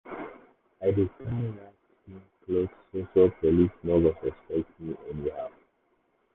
i dey try wear clean cloth so so police no go suspect me anyhow.